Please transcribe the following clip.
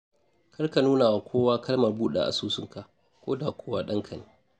Kar ka nunawa kowa kalmar buɗe asusunka ko da kuwa ɗanka ne.